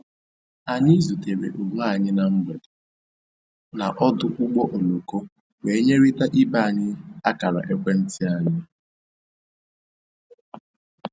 Anyị zutere onwe anyị na mgberede na ọdụ ụgbọ oloko wee nyerịta ibe anyị akara ekwentị anyị